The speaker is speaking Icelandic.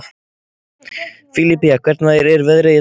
Filipía, hvernig er veðrið í dag?